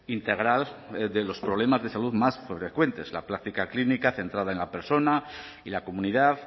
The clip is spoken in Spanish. integral de los problemas de salud más frecuentes la práctica clínica centrada en la persona y la comunidad